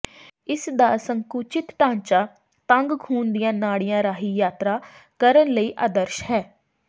ਇਸ ਦਾ ਸੰਕੁਚਿਤ ਢਾਂਚਾ ਤੰਗ ਖੂਨ ਦੀਆਂ ਨਾੜੀਆਂ ਰਾਹੀਂ ਯਾਤਰਾ ਕਰਨ ਲਈ ਆਦਰਸ਼ ਹੈ